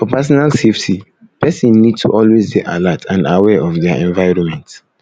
for personal safety person need to always dey alert and aware of their environment